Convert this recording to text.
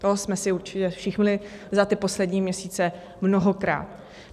To jsme si určitě všimli za ty poslední měsíce mnohokrát.